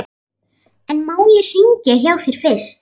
En má ég hringja hjá þér fyrst?